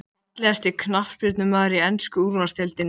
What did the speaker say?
Björn Þorláksson: Ef ekkert álver, blæðir þá byggðunum hér út?